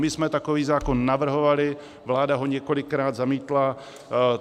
My jsme takový zákon navrhovali, vláda ho několikrát zamítla.